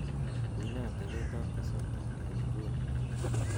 unee atebtab kasarta en inguni